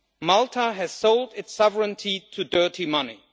Malta has sold its sovereignty to dirty money.